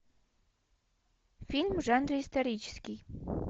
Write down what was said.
фильм в жанре исторический